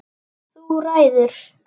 Þú ræður.